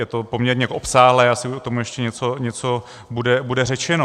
Je to poměrně obsáhlé, asi k tomu ještě něco bude řečeno.